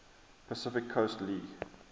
pacific coast league